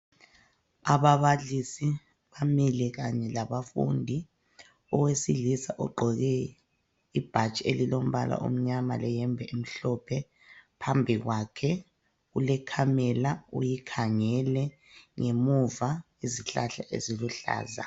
Ababalisi bamile kanye labafundi. Owesilisa ogqoke ibhatshi elilombala omnyama leyembe emhlophe phambi kwakhe kule khamela uyikhangele ngemuva izihlahla eziluhlaza.